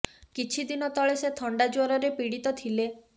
କିଛି ଦିନ ତଳେ ସେ ଥଣ୍ଡା ଜ୍ୱରରେ ପୀଡିତ ଥିଲେ